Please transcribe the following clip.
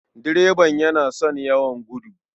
Direban yana son yawan gudu.